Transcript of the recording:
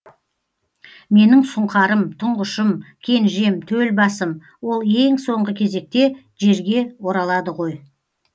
менің сұңқарым тұңғышым кенжем төл басым ол ең соңғы кезекте жерге оралады ғой